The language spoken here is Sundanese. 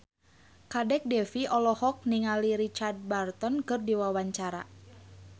Kadek Devi olohok ningali Richard Burton keur diwawancara